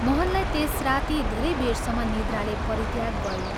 मोहनलाई त्यस राती धेरै बेरसम्म निद्राले परित्याग गयो।